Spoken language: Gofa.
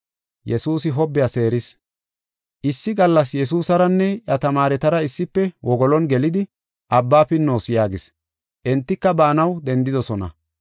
Issi gallas Yesuusaranne iya tamaaretara issife wogolon gelidi, “Abbaa pinnoos” yaagis. Entika baanaw dendidosona.